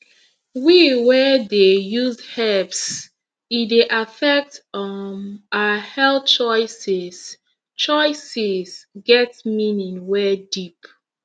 we wey dey use herbs e dey affect um our health choices choices get meaning wey deep